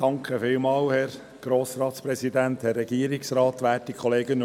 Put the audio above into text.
Schauen wir einmal, ob Herr Grimm seine Stimme während der Mittagspause nicht ganz verloren hat.